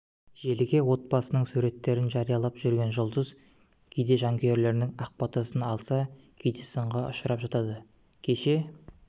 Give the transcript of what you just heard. желіге отбасының суреттерін жариялап жүрген жұлдыз кейде жанкүйерлерінің ақ батасын алса кейде сынға ұшырап жатады кеше